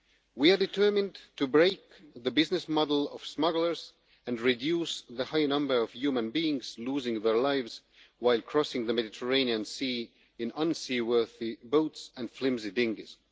We are determined to break the business model of smugglers and reduce the high number of human beings losing their lives while crossing the Mediterranean Sea in unseaworthy boats and flimsy dinghies.